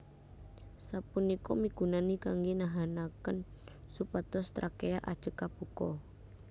Sapunika migunani kanggè nahanakén supados trakea ajeg kabuka